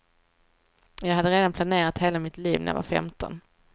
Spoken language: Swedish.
Jag hade redan planerat hela mitt liv när jag var femton.